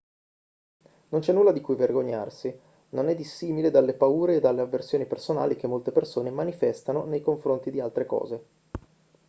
non c'è nulla di cui vergognarsi non è dissimile dalle paure e dalle avversioni personali che molte persone manifestano nei confronti di altre cose